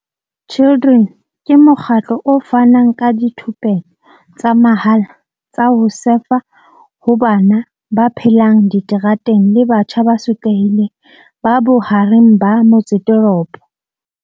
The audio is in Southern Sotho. Children ke mokgatlo o fanang ka dithupelo tsa mahala tsa ho sefa ho bana ba phelang diterateng le batjha ba sotlehileng ba bohareng ba motseteropo.